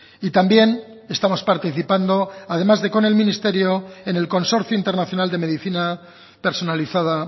y también estamos participando además de con el ministerio en el consorcio internacional de medicina personalizada